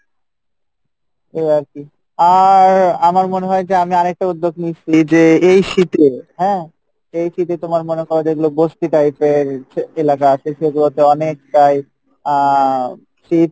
এই আর কী আর আমার মনে হয় যে আমি আর একটা উদ্যোগ নিসি যে এই শীতে হ্যাঁ, যে এই শীতে তোমার মনে করো যেগুলো বসতি type এর যে এলাকা আছে সেগুলো তো অনেকটাই আহ শীত